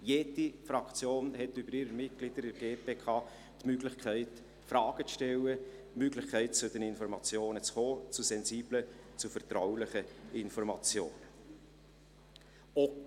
Jede Fraktion hat über ihre Mitglieder in der GPK die Möglichkeit, Fragen zu stellen, die Möglichkeit, zu den Informationen zu kommen, zu sensiblen, zu vertraulichen Informationen.